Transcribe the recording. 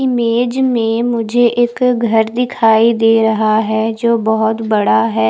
Image में मुझे एक घर दिखाई दे रहा है जो बोहोत बड़ा है।